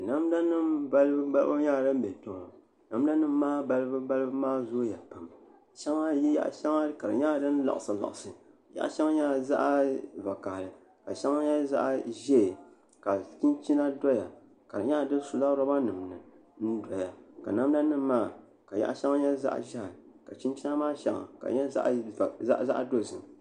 Namda nim balibu balibu nyɛla din bɛ kpɛ maa namda nim maa balibu balibu maa zooya pam ka yaɣa shɛŋa nyɛla din liɣisi liɣisi yaɣa shɛŋa nyɛla zaɣ vakaɣali ka shɛŋa nyɛ zaɣ ʒiɛ ka chinchina doya ka di nyɛla di sula roba nim ni ka namda nim maa ka yaɣa shɛŋa nyɛ zaɣ ʒiɛhi ka chinchina maa shɛŋa ka di nyɛ zaɣ dozim